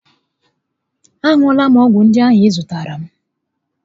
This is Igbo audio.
A ṅụọla m ọgwụ ndị ahụ ị zụtaara m